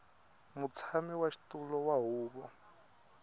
mutshami wa xitulu wa huvo